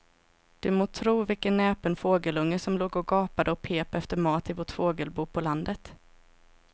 Du må tro vilken näpen fågelunge som låg och gapade och pep efter mat i vårt fågelbo på landet.